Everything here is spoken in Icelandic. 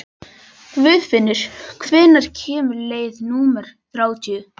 Guðfinnur, hvenær kemur leið númer þrjátíu og þrjú?